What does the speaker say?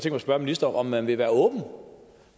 at spørge ministeren om man vil være åben